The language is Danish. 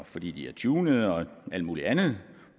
fordi de er tunede og alt muligt andet